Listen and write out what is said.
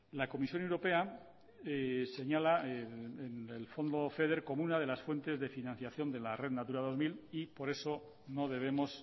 la comisión europea señala el fondo feder como una de las fuentes de financiación de la red natura dos mil y por eso no debemos